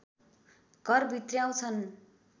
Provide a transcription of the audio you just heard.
घर भित्र्याउँछन्